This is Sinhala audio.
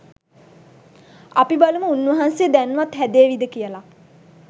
අපි බලමු උන්වහන්සේ දැන්වත් හැදේවිද කියලා.